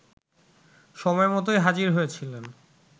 সময়মতোই হাজির হয়েছিলেন